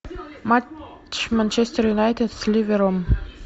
матч манчестер юнайтед с ливером